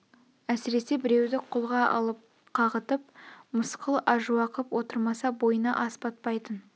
әсресе біреуді қолға алып қағытып мысқыл ажуа қып отырмаса бойына ас батпайтын